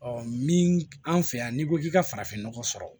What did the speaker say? min an fɛ yan n'i ko k'i ka farafinnɔgɔ sɔrɔ